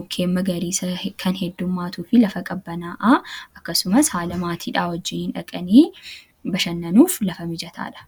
mukkeen magariisa kan hedduummatuu fi lafa qabbanaa'aa akkasumas haala maatiidhaa wajjiin hin dhaqanii bashannanuuf lafa mijataadha.